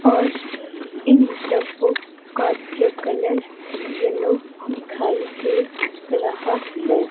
और इन डब्बो का जो कलर येलो दिखाई दे रहा है।